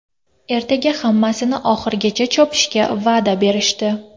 Ertaga hammasini oxirigacha chopishga va’da berishdi.